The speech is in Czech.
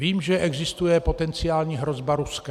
Vím, že existuje potenciální hrozba Ruskem.